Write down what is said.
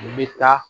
N bɛ taa